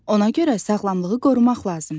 Ona görə sağlamlığı qorumaq lazımdır.